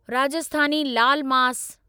Rajasthani laal मास